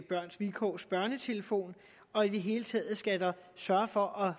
børns vilkårs børnetelefon og i det hele taget skal der sørges for